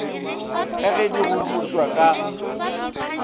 ka ge di godipwa ka